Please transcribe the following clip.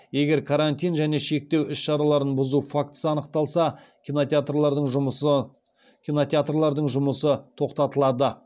егер карантин және шектеу іс шараларын бұзу фактісі анықталса кинотеатрлардың жұмысы тоқтатылады